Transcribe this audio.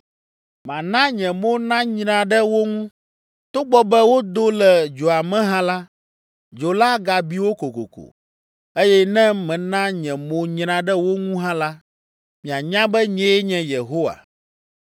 Mana nye mo nanyra ɖe wo ŋu. Togbɔ be wodo le dzoa me hã la, dzo la agabi wo kokoko. Eye ne mena nye mo nyra ɖe wo ŋu hã la, mianya be, nyee nye Yehowa.